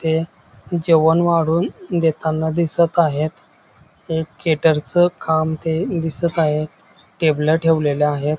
इथे जेवण वाढून देताना दिसत आहेत एक केटरच काम ते दिसत आहे टेबल ठेवलेल आहेत.